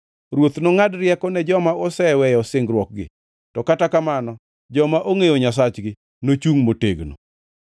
Ruoth nongʼad rieko ne joma oseweyo singruokgi, to kata kamano joma ongʼeyo Nyasachgi nochungʼ motegno.